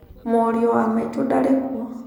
Mũriũ wa maitũ ndarĩkuo.